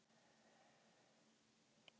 Magnús Jónsson íslenskaði.